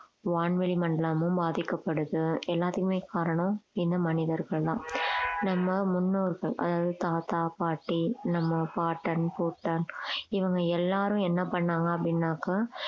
வான்வெளி மண்டலமும் பாதிக்கப்படுது எல்லாத்துக்குமே காரணம் இந்த மனிதர்கள் தான் நம்ம முன்னோர்கள் அதாவது தாத்தா பாட்டி நம்ம பாட்டன் பூட்டன் இவங்க எல்லாரும் என்ன பண்ணாங்க அப்படின்னாக்கா